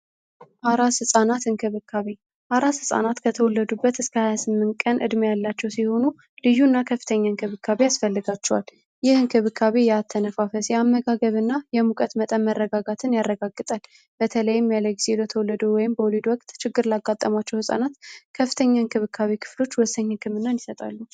አራስ ህጻናት እንክብካቤ ከተወለዱበት እስከ 28 ቀን ያላቸው ሲሆኑ ልጁና ከፍተኛ አስፈለጋቹ ያመጋገብ እና የሙቀት መጠን መረጋጋትን ያረጋግጥ በተለይም ተወለደ ወይም ችግር አጋጣሚ ህጻናት ከፍተኛ እንክብካቤ ክፍሎች ይሰጣሉ